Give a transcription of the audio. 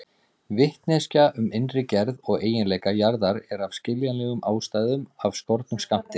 Vitneskja um innri gerð og eiginleika jarðar er af skiljanlegum ástæðum af skornum skammti.